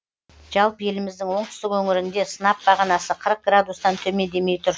жалпы еліміздің оңтүстік өңірінде сынап бағанасы қырық градустан төмендемей тұр